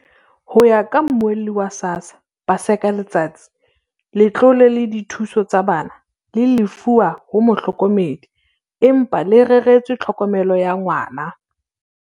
Ho ya ka Mmuelli wa SASSA, Paseka Letsatsi, letlole la dithuso tsa bana le lefuwa ho mohlokomedi, empa le reretswe tlhokomelo ya ngwana.